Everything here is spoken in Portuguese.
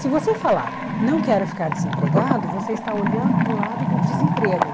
Se você falar, não quero ficar desempregado, você está olhando para o lado do desemprego.